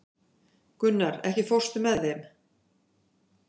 Gunnar, ekki fórstu með þeim?